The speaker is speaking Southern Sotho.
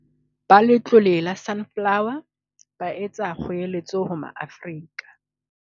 Ba Letlole la Sunflo wer, ba etsa kgoeletso ho Maafrika